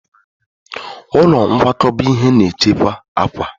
Ụlọ nkwakọba ihe na-echekwa akwa.